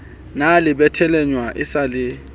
na le methwaelanyana e sa